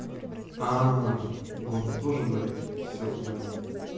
а горло тоже болит все понял